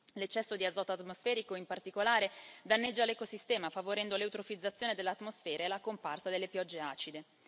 L'eccesso di azoto atmosferico, in particolare, danneggia l'ecosistema, favorendo l'eutrofizzazione dell'atmosfera e la comparsa delle piogge acide.